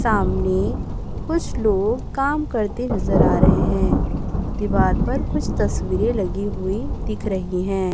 सामने कुछ लोग काम करते नजर आ रहे हैं दीवार पर कुछ तस्वीरें लगी हुई दिख रही है।